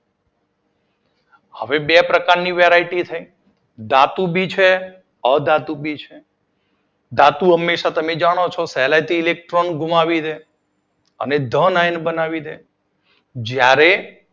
હવે બે પ્રકારની વેરાયટી થઈ. ધાતુ ભી છે અધાતુ ભી છે. ધાતુ હંમેશા તમે પણ જાણો છો સહેલાઇથી ઇલેક્ટ્રોન ગુમાવી દે અને ધન આયન બનાવી દે જ્યારે